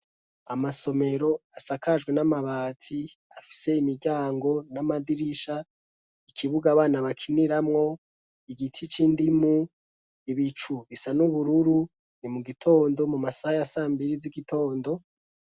Amasomero asakajwe n'amabati afise imiryango n'amadirisha ikibuga abana bakiniramwo igitic'indimu ibicu bisa n'ubururu ni mu gitondo mu masaha ya sambiri z'igitondo.